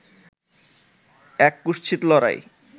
এক কুৎসিত লড়াই